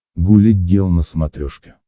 гуля гел на смотрешке